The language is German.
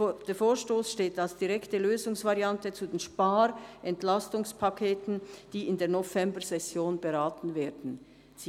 «Der Vorstoss steht als direkte Lösungsvariante zu den Spar/Entlastungspaketen, die in der Novembersession beraten werden».